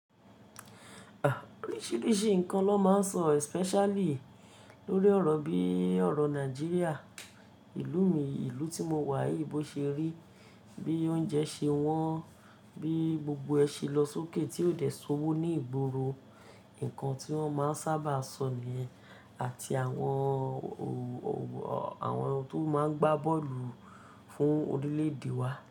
Oríṣiríṣi nǹkan ló máa ń sọ especially lórí ọ̀rọ̀ bíi ọ̀rọ̀ Nàìjíríà, ìlú mi, ìlú tí mo wà yìí bọ̀ ṣe rí, bí oúnjẹ ṣe wọ́n, bí gbogbo ẹ ṣe lọ sókè tí ó dẹ̀ ṣowó ní ìgboro, nǹkan tí wọ́n máa ń sábà sọ nìyẹn àti àwọn tó máa ń gbá bọ́ọ̀lù fún orílẹ̀-èdè wa.